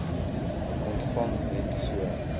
ontvang het so